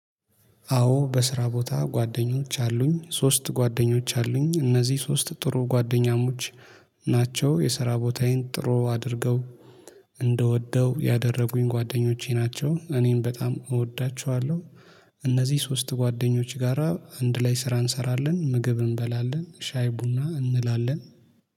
አዎ በስራ ቦታ ጓደኞች አሉኝ ሶስት ጓደኞች አሉኝ እነዚህ ሶስት ጥሩ ጓደኛሞች የሰራ ቦታዬን ጥሩ አድርገው እንድወደው ያደረጉኝ ጓደኞቼ ናቸው እኔን በጣም እወዳቸዋለሁ። እነዚህ ሶስት ጓደኞች ጋራ አንድ ላይ ስራ እንሰራለን ምግብ እንበላለን ሻይ ቡና እንላለን